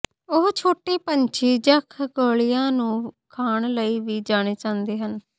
ਉਹ ਛੋਟੇ ਪੰਛੀ ਜਾਂ ਖਗੋਲਿਆਂ ਨੂੰ ਖਾਣ ਲਈ ਵੀ ਜਾਣੇ ਜਾਂਦੇ ਹਨ